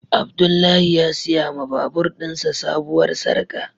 Abdullahi ya siya ma babur din sa sabuwar sarka.